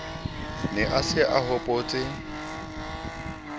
ne a se a hobotse